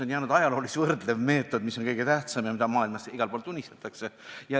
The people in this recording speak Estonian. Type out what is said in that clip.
On jäänud ajaloolis-võrdlev meetod, mis on kõige tähtsam ja mida maailmas igal pool tunnistatakse.